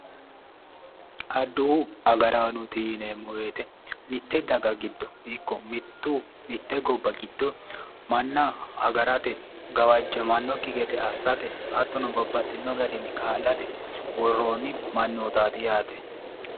Adduwu agaraanooti yineemmo woyiite mitte daga giddo ikko mittu mitte gobba giddo manna agarate gawajjamannokki gede assate hattono babbaxxino garinni kaa'late worroonni mannootaati yaate